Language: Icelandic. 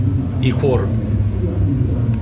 Í hvorum?